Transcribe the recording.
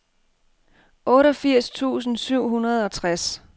otteogfirs tusind syv hundrede og tres